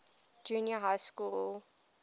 junior high school